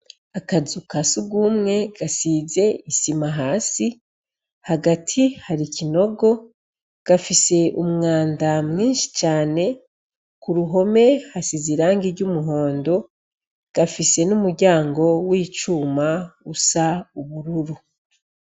Akazu kasugumwe gasize isima hasi, hagati har'ikinogo gafis'umwanda mwinshi cane, k'uruhome hasize irangi ry'umuhondo, gafise n'umuryango w'icuma usa n'ubururu.